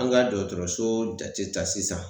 An ka dɔgɔtɔrɔso jate ta sisan.